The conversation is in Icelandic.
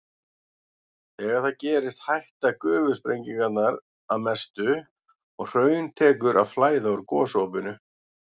Þegar það gerist hætta gufusprengingarnar að mestu og hraun tekur að flæða úr gosopinu.